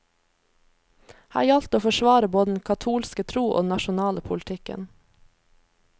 Her gjaldt det å forsvare både den katolske tro og den nasjonale politikken.